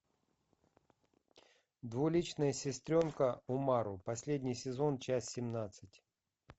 двуличная сестренка умару последний сезон часть семнадцать